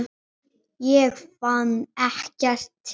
Ég fann ekkert til.